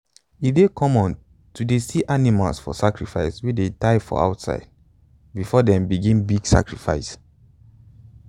e dey common to dey see animals for sacrifice wey them tie for outside before them begin big sacrifice.